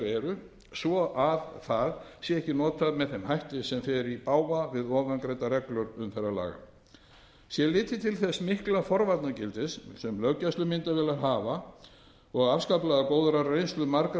eru svo það sé ekki notað með þeim hætti sem fer í bága við ofangreindar reglur umferðarlaga sé litið til þess mikla forvarnagildis sem löggæslumyndavélar hafa og afskaplega góðrar reynslu margra